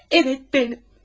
Bəli, mənəm.